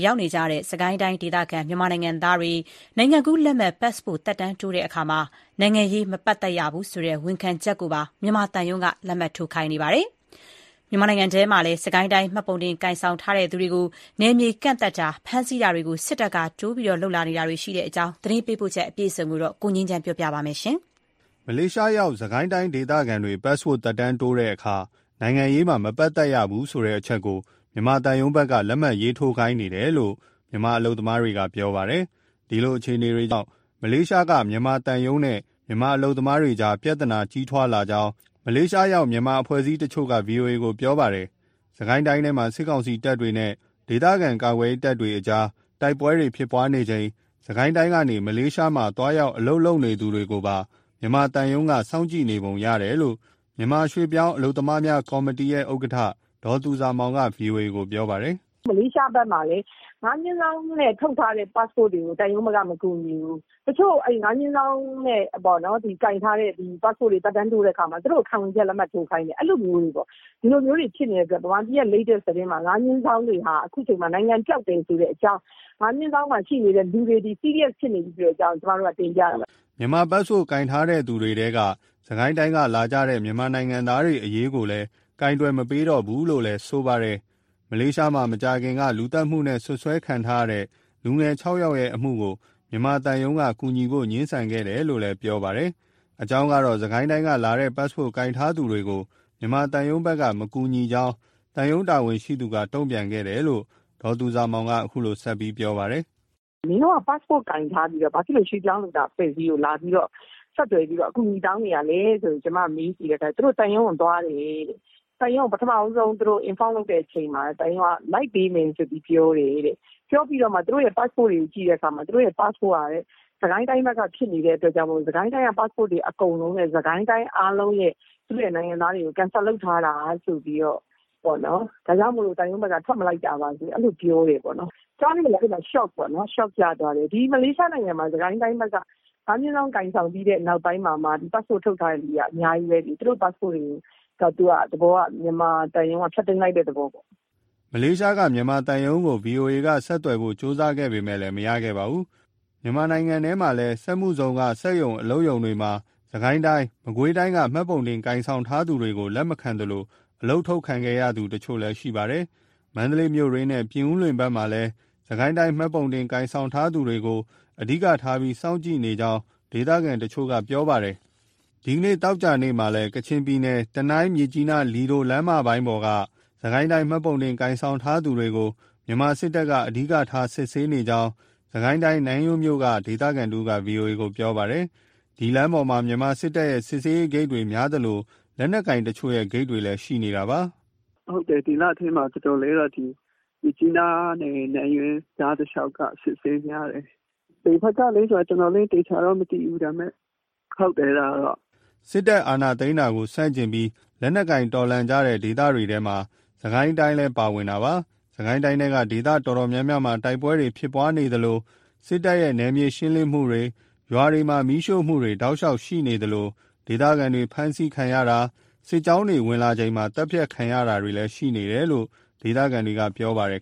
ရောက်နေကြတဲ့ စစ်ကိုင်းတိုင်းဒေသခံ မြန်မာနိုင်ငံသားတွေ နိုင်ငံကူးလက်မှတ် ပတ်စ်ပို့သက်တမ်းတိုးတဲ့အခါမှာ နိုင်ငံရေးမှာ မပတ်သက်ရဘူးဆိုတဲ့ ခံဝန်ချက်ကိုပါ မြန်မာသံရုံးက လက်မှတ်ရေးထိုးခိုင်းနေပါတယ်။ မြန်မာနိုင်ငံထဲမှာလဲ စစ်ကိုင်းတိုင်း မှတ်ပုံတင် ကိုင်ဆောင်ထားသူတွေကို နယ်မြေကန့်သတ်တာ၊ ဖမ်းဆီတာတွေကို စစ်တပ်က တိုးပြီးလုပ်လာတာပါ။ ဒီအကြောင်း သတင်းပေးပို့ချက်ကို ကိုငြိမ်းချမ်းက ပြောပြပါမယ်။ မလေးရှားရောက် စစ်ကိုင်းတိုင်းဒေသခံတွေ ပတ်စ်ပို့သက်တမ်းတိုးတဲ့အခါမှာ နိုင်ငံရေးမှာ မပတ်သက်ရဘူးဆိုတဲ့အချက်ကို မြန်မာသံရုံးဘက်က လက်မှတ်ရေးထိုးခိုင်းတယ်လို့ အလုပ်သမားတွေက ပြောပါတယ်။ ဒီလိုအခြေအနေကြောင့် မလေးရှားကမြန်မာသံရုံးနဲ့ မြန်မာအလုပ်သမားတွေကြားမှာ ပြဿနာကြီးထွားလာကြောင်း မလေးရှားရောက် မြန်မာအဖွဲ့အစည်းတချို့က ဗွီအိုအေကို ပြောပါတယ်။ စစ်ကိုင်းတိုင်းထဲမှာ စစ်ကောင်စီတပ်တွေနဲ့ ဒေသခံကာကွယ်ရေးတပ်တွေကြား တိုက်ပွဲတွေဖြစ်နေချိန် စစ်ကိုင်းတိုင်းကနေ မလေးရှားမှာ သွားရောက်အလုပ်လုပ်နေသူတွေကိုပါ မြန်မာသံရုံးက စောင့်ကြည့်နေပုံရတယ်လို့ မြန်မာရွှေ့ပြောင်းလုပ်သားများ ကော်မတီရဲ့ဥက္ကဋ္ဌ ဒေါ်သူဇာမောင်က ဗွီအိုအေကိုပြောပါတယ်။ "မလေးရှားဘက်မှာလည်း ၅/နဲ့ထုတ်ထားတဲ့ ပတ်စ်ပို့တွေကို သံရုံးကမကူညီဘူး။ ၅/ ပတ်စ်ပို့တွေ သက်တမ်းတိုးတဲ့အခါမှာ သူတို့ကို ခံဝန်ချက် လက်မှတ်ထိုးခိုင်းတယ်။ ဒီလိုမျိုးတွေ ဖြစ်နေတဲ့အတွက် မြန်မာပြည်က latest သတင်းမှာ ၅/တွေဟာ အခုအချိန်မှာ နိုင်ငံပျောက်တယ်ဆိုတဲ့အကြောင်း ၅/ရှိနေတဲ့သူတွေသည် serious ဖြစ်နေပြီဆိုတဲ့အကြောင်း ကျမတို့က တင်ပြတာပါ" မြန်မာ ပတ်စ်ပို့ကိုင်ထားသူတွေထဲက စစ်ကိုင်းတိုင်းကနေလာကြတဲ့ မြန်မာနိုင်ငံသားတွေအရေးကိုလည်း ကိုင်တွယ်မပေးတော့ဘူးလို့လည်း ဆိုပါတယ်။ မလေးရှားမှာ မကြာခင်က လူသတ်မှုနဲ့ စွပ်စွဲခံထားရတဲ့ လူငယ်ခြောက်ယောက်ရဲ့အမှုကို မြန်မာသံရုံးက ကူညီဖို့ငြင်းခဲ့တယ်လို့ ပြောပါတယ်။ အကြောင်းကတော့ စစ်ကိုင်းတိုင်းကလာတဲ့ ပတ်စ်ပို့ကိုင်ဆောင်ထားသူတွေကို မြန်မာသံရုံးဘက်က မကူညီကြောင်း သံရုံးတာဝန်ရှိသူက တုံ့ပြန်ခဲ့တယ်လို့ ဒေါ်သူဇာမောင်က ဆက်ပြောပါတယ်။ "မင်းတို့က passport ကိုင်ထားပြီးတော့ ဘာလို့ရွှေ့ပြောင်းလုပ်သား အဖွဲ့အစည်းကို ဆက်သွယ်ပြီး အကူအညီ တောင်းတာလဲဆိုပြီး ကျမကမေးကြည့်တော့ သူတို့သံရုံးကို သွားတယ်တဲ့၊ သံရုံးက သူတို့ပထမဆုံး inform လုပ်တဲ့အချိန်မှာ လိုက်ပေးမယ်ဆိုပြီး ပြောတယ်တဲ့။ ပြောပြီး သူတို့ရဲ့ ပတ်စ်ပို့တွေကို ကြည့်တဲ့အခါမှာ စစ်ကိုင်းတိုင်းက ဖြစ်နေတဲ့အတွက်မို့ စစ်ကိုင်းတိုင်းက ပတ်စ်ပို့တွေအကုန်လုံးနဲ့ စစ်ကိုင်းတိုင်းက နိုင်ငံသားတွေကို cancel လုပ်ထားတာဆိုပြီး ဒါကြောင့်မို့ သံရုံးက ထွက်မလိုက်တာပါဆိုပြီး ပြောတယ်ပေါ့နော်။ ကြားပြီး shock ရသွားတယ်ပေါ့နော်။ ဒီမလေးရှားနိုင်ငံမှာ စစ်ကိုင်းတိုင်းက ၅/ကိုင်ဆောင်ပြီးတဲ့ နောက်ပိုင်းမှာ ဒီပတ်စ်ပို့ထုတ်ထားသူတွေက အများကြီး။ သူတို့ပတ်စ်ပို့တွေကို မြန်မာသံရုံးက ဖျက်သိမ်းလိုက်တဲ့သဘော။" မလေးရှားက မြန်မာသံရုံးကို ဗွီအိုအေက ဆက်သွယ်ဖို့ ကြိုးစားခဲ့ပေမဲ့ မရခဲ့ပါဘူး။ မြန်မာနိုင်ငံထဲမှာလဲ စက်မှုဇုံက စက်ရုံ အလုပ်ရုံတွေမှာတော့ စစ်ကိုင်းတိုင်း မကွေးတိုင်းမှတ်ပုံတင် ကိုင်ဆောင်ထားသူတွေကို လက်မခံသလို အလုပ်ထုတ်ခံခဲ့ရသူတချို့လည်း ရှိပါတယ်။ မန္တလေးမြို့တွင်းနဲ့ ပြင်ဦးလွင်ဘက်မှာလည်း စစ်ကိုင်းတိုင်း မှတ်ပုံတင်ကိုင်ဆောင်ထားသူတွေကို အဓိကထားပြီး စောင့်ကြည့်ကြောင်း ဒေသခံတချို့ကပြောပါတယ်။ ဒီနေ့ သောကြာနေ့မှာလည်း ကချင်ပြည်နယ် တနိုင်း- မြစ်ကြီးနား လီဒိုလမ်းပိုင်းပေါ်မှာ စစ်ကိုင်းတိုင်း မှတ်ပုံတင် ကိုင်ဆောင်ထားသူတွေကို မြန်မာစစ်တပ်က အဓိကစစ်ဆေးနေကြောင်း စစ်ကိုင်းတိုင်း၊ နန်းယွန်းမြို့က ဒေသခံတဦးက ဗွီအိုအေကိုပြောပါတယ်။ ဒီလမ်းပေါ်မှာ မြန်မာစစ်တပ်ရဲ့ စစ်ဆေးရေးဂိတ်တွေများသလို လက်နက်ကိုင်တချို့ရဲ့ ဂိတ်တွေရှိနေတာပါ။ " ဒီလအထဲမှာပေါ့ ဟုတ်တယ် ဒီလအတွင်းမှာ တော်တော်လေးတော့ မြစ်ကြီးနားကနေ နန်းယွန်းတလျှောက်ပေါ့ အစစ်အဆေးများတယ်။ ဘယ်ဘက်ကလဲဆိုတော့ သေချာတော့မသိဘူး ဒါပေမဲ့ဟုတ်တယ်။" စစ်တပ်အာဏာသိမ်းတာကို ဆန့်ကျင်ပြီး လက်နက်ကိုင်တော်လှန်နေကြတဲ့ဒေသတွေထဲမှာ စစ်ကိုင်းတိုင်းလဲ ပါဝင်ပါတယ်။ စစ်ကိုင်းတိုင်းထဲက ဒေသတော်တော်များများမှာ တိုက်ပွဲတွေရှိနေသလို၊ စစ်တပ်ရဲ့ နယ်မြေရှင်းလင်းမှုတွေ၊ ရွာတွေ မီးရှို့မှုတွေ တောက်လျှောက်ရှိနေသလို ဒေသခံတွေ ဖမ်းဆီးခံရတာ၊ စစ်ကြောင်းတွေ ဝင်လာချိန် သတ်ဖြတ်ခံရမှုတွေလည်း ရှိနေတယ်လို့ ဒေသခံတွေက ပြောကြပါတယ်